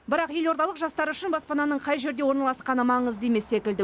бірақ елордалық жастар үшін баспананың қай жерде орналасқаны маңызды емес секілді